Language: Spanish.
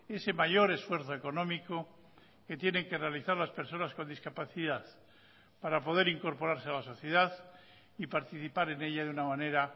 ese mayor esfuerzo económico que tienen que realizar las personas con discapacidad para poder incorporarse a la sociedad y participar en ella de una manera